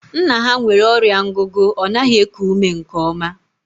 Nna ha nwere ọrịa ngugu, ọ naghị eku ume nke oma